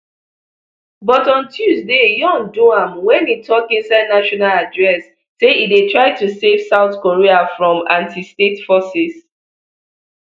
but on tuesday yoon do am wen e tok inside national address say e dey try to save south korea from antistate forces